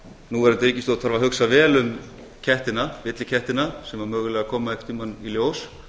núverandi ríkisstjórn þarf að hugsa vel um kettina villikettina sem mögulega koma einhvern tíma í ljós